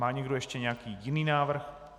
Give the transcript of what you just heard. Má někdo ještě nějaký jiný návrh?